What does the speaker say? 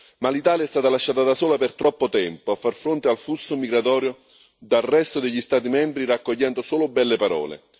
Ma l'Italia è stata lasciata da sola per troppo tempo a far fronte al flusso migratorio dal resto degli Stati membri, raccogliendo solo belle parole.